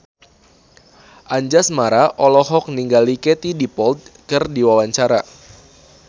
Anjasmara olohok ningali Katie Dippold keur diwawancara